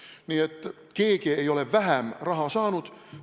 Nii et keegi ei ole vähem raha saanud.